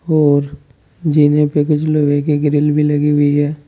और जीने पे कुछ लोहे की ग्रिल भी लगी हुई है।